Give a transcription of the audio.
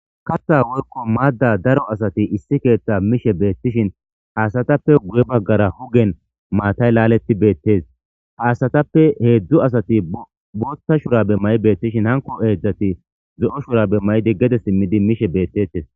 Katha woykon matha issi kethan mishe betishin ha asatappe guye bagara hugen mattayi laleti betes ha asatappe hezhu asati botha shurabe mayi betishin anko hezhzhati zo'o shurabe mayidi gede simidi mishe betetes